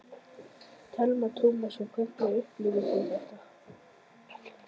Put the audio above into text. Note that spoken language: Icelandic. Telma Tómasson: Og hvernig upplifðuð þið þetta?